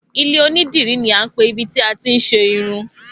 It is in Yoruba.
Ilé onídìrí ni a ń pè ibi tí àti ń ṣe irun